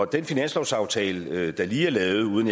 den finanslovsaftale der lige er lavet uden